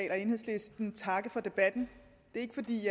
og enhedslistens vegne takke for debatten ikke fordi vi